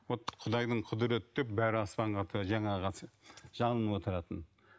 вот құдайдың құдіреті деп жалынып отыратын